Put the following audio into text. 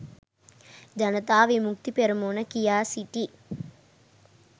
ජනතා විමුක්ති පෙරමුණ කියා සිටියි